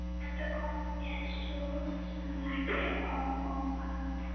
Þetta kom mér svo sem ekki á óvart.